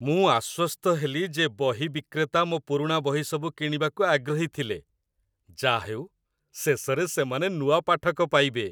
ମୁଁ ଆଶ୍ୱସ୍ତ ହେଲି ଯେ ବହି ବିକ୍ରେତା ମୋ ପୁରୁଣା ବହିସବୁ କିଣିବାକୁ ଆଗ୍ରହୀ ଥିଲେ। ଯା'ହେଉ, ଶେଷରେ ସେମାନେ ନୂଆ ପାଠକ ପାଇବେ।